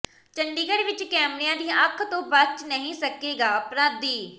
ਚੰਡੀਗੜ੍ਹ ਵਿੱਚ ਕੈਮਰਿਆਂ ਦੀ ਅੱਖ ਤੋਂ ਬਚ ਨਹੀਂ ਸਕੇਗਾ ਅਪਰਾਧੀ